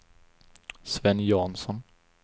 Sven Jansson